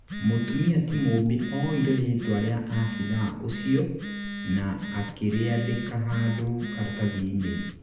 mũtumia ti Mumbi oire rĩtwa ria abĩthaa ũcio na akĩriandika handũ karatathinĩ